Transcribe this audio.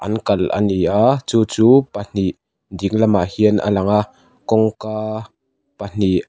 an kalh a ni a chu chu pahnih ding lamah hian a lang a kawngka pahnih --